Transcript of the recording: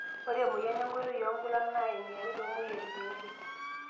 Ore emoyian enkoitoi oonkulak naa eniare toomoyiaritin osesen.